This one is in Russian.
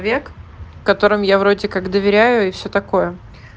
век в котором я вроде как доверяю и все такое